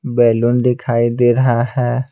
Balloon दिखाई दे रहा है।